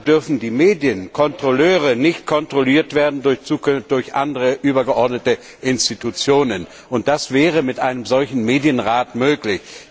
Deshalb dürfen die Medienkontrolleure nicht kontrolliert werden durch andere übergeordnete Institutionen, und das wäre mit einem solchen Medienrat möglich.